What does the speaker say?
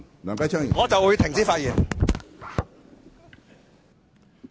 我現在便停止發言。